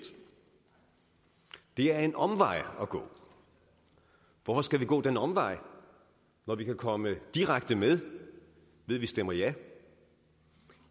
det er en omvej at gå hvorfor skal vi gå den omvej når vi kan komme direkte med ved at vi stemmer ja